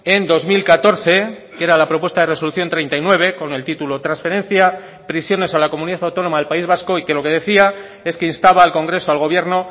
en dos mil catorce que era la propuesta de resolución treinta y nueve con el título transferencia prisiones a la comunidad autónoma del país vasco y que lo que decía es que instaba al congreso al gobierno